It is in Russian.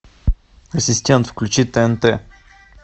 ассистент включи тнт